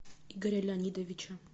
игоря леонидовича